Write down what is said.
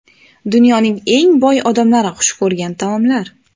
Dunyoning eng boy odamlari xush ko‘rgan taomlar?.